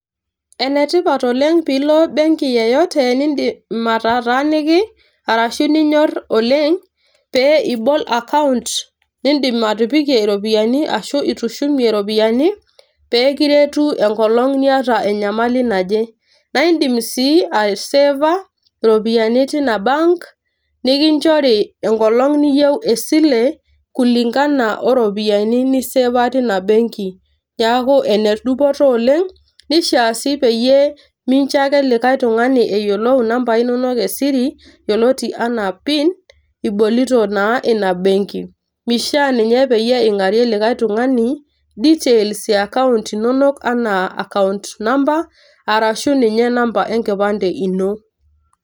Ene tipat oleng pilo benki yeyote nindim ataataniki arashu ninyor oleng pee ibol account nindim atipikei iropiyiani ashu itushumie iropiyiani pekiretu enkolong niata enyamali naje naa indim sii aiseva iropiyiani tina bank nikinchori enkolong niyieu esile kulingana oropiyiani niseva tina benki . niaku ene dupoto oleng nishaa si peyie mincho ake likae tungani eyiolou inambai inonok e siri yioloti anaa pin ibolita naa ina benki . mishaa ninye ingarie likae tungani , details e account inonok anaa account number arashu ninye number enkipande ino